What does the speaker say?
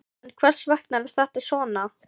En hvers vegna er þetta svona?